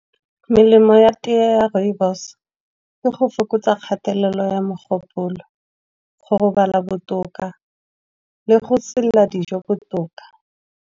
Melemo ya teye ya rooibos, ke go fokotsa kgatelelo ya mogopolo, go robala botoka le go selela dijo botoka.